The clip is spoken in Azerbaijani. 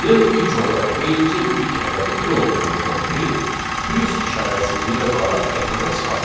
Yəni ilk olaraq rangein ilk ədədi bir olduğundan print plus işarəsini birə vuraraq ekrana çıxardır.